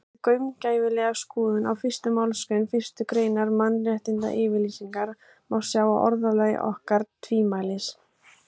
Við gaumgæfilega skoðun á fyrstu málsgrein fyrstu greinar Mannréttindayfirlýsingarinnar má sjá að orðalagið orkar tvímælis.